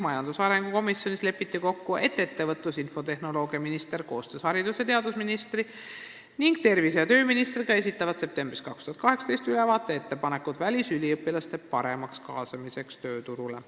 Majandusarengu komisjonis on kokku lepitud, et ettevõtlus- ja infotehnoloogiaminister esitab koostöös haridus- ja teadusministri ning tervise- ja tööministriga septembris 2018 ülevaate ettepanekutest välisüliõpilaste paremaks kaasamiseks tööturule.